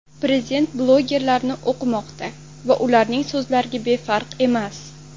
Prezident blogerlarni o‘qimoqda va ularning so‘zlariga befarq emas.